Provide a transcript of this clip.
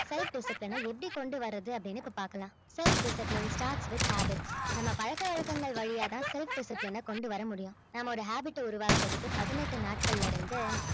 self discipline அ எப்படி கொண்டு வர்றது அப்படின்னு இப்ப பார்க்கலாம் self discipline starts with habits நம்ம பழக்க வழக்கங்கள் வழியாதான் self discipline அ கொண்டு வர முடியும் நாம ஒரு habit அ உருவாக்குறதுக்கு பதினெட்டு நாட்கள்ல இருந்து